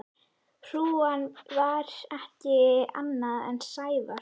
Hrúgan var ekkert annað en Sævar.